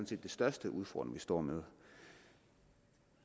set den største udfordring vi står med